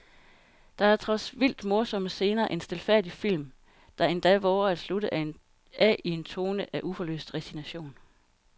Der er trods vildt morsomme scener en stilfærdig film, der endda vover at slutte af i en tone af uforløst resignation.